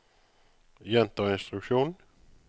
gjenta instruksjon